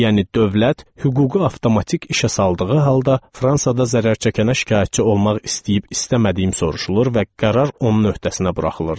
Yəni dövlət hüququ avtomatik işə saldığı halda Fransada zərər çəkənə şikayətçi olmaq istəyib-istəmədiyimi soruşulur və qərar onun öhdəsinə buraxılırdı.